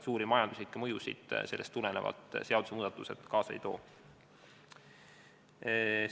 Suuri majanduslikke mõjusid sellest tulenevalt seadusemuudatused kaasa ei too.